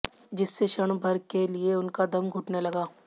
जिससे क्षण भर के लिए उनका दम घुटने लगा